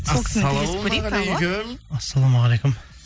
ассалаумағалейкум ассалаумағалейкум